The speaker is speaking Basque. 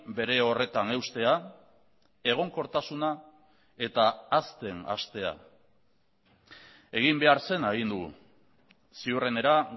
bere horretan eustea egonkortasuna eta hazten hastea egin behar zena egin dugu ziurrenera